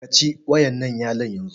Ka ci wa'ƴannan yalon yanzu!